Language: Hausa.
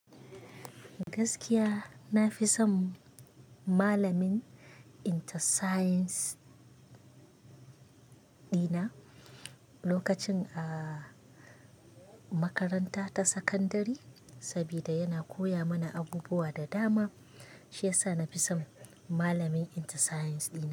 Gaskiya na fi son malamin Inter Science ɗina lokacin a makaranta ta sakandare, saboda yana koya mana abubuwa da dama. Shi yasa na fi son malamin Inter Science ɗina.